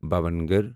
Bhavnagar